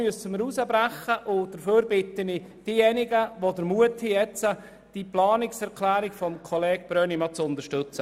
Ich bitte nun diejenigen, die den Mut dazu haben, die Planungserklärung von Kollege Brönnimann zu unterstützen.